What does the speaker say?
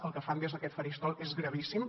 el que fan des d’aquest faristol és gravíssim